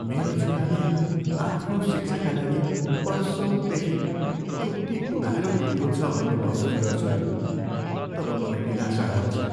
मेरो छोराले आफ्नो शिक्षाका लागि वर्षौँदेखि कति उधारो लिएको छ भन्ने महसुस गर्छु नि तब मलाई निराशा हुन्छ।